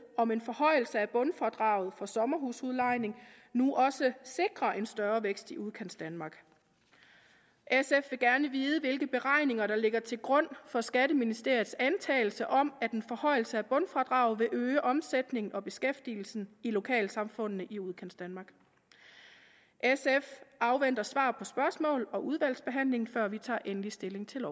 om en forhøjelse af bundfradraget for sommerhusudlejning nu også sikrer en større vækst i udkantsdanmark sf vil gerne vide hvilke beregninger der ligger til grund for skatteministeriets antagelse om at en forhøjelse af bundfradraget vil øge omsætningen og beskæftigelsen i lokalsamfundene i udkantsdanmark sf afventer svar på spørgsmål og udvalgsbehandling før vi tager endelig stilling til